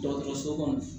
Dɔgɔtɔrɔso kɔnɔ